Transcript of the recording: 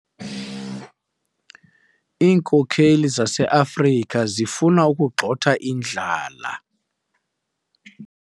Iinkokeli zaseAfrika zifuna ukugxotha indlala.